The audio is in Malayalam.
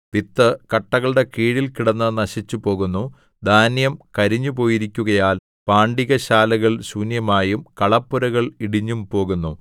വിത്ത് കട്ടകളുടെ കീഴിൽ കിടന്ന് നശിച്ചുപോകുന്നു ധാന്യം കരിഞ്ഞുപോയിരിക്കുകയാൽ പാണ്ടികശാലകൾ ശൂന്യമായും കളപ്പുരകൾ ഇടിഞ്ഞും പോകുന്നു